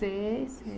Sei, sei.